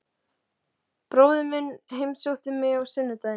Bróðir minn heimsótti mig á sunnudaginn.